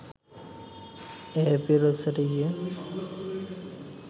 এএপির ওয়েবসাইটে গিয়ে